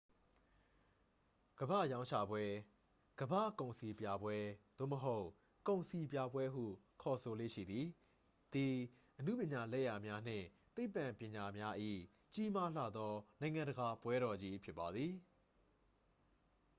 ကမ္ဘာ့ရောင်းချပွဲ ကမ္ဘာ့ကုန်စည်ပြပွဲ၊ သို့မဟုတ် ကုန်စည်ပြပွဲဟု ခေါ်ဆိုလေ့ရှိသည် သည် အနုပညာလက်ရာများနှင့် သိပ္ပံပညာများ၏ ကြီးမားလှသော နိုင်ငံတကာပွဲတော်ကြီးဖြစ်ပါသည်။